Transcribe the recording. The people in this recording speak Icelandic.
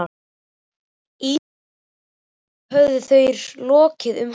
Ísetningu glugganna höfðu þeir lokið um hádegið.